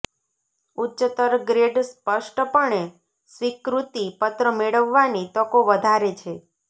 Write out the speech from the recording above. ઉચ્ચતર ગ્રેડ સ્પષ્ટપણે સ્વીકૃતિ પત્ર મેળવવાની તકો વધારે છે